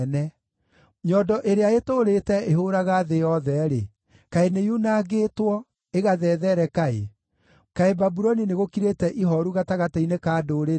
Nyondo ĩrĩa ĩtũũrĩte ĩhũũraga thĩ yothe-rĩ, kaĩ nĩyunangĩtwo, ĩgathethereka-ĩ! Kaĩ Babuloni nĩgũkirĩte ihooru gatagatĩ-inĩ ka ndũrĩrĩ-ĩ!